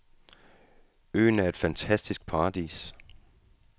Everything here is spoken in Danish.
Øen er et fantastisk paradis.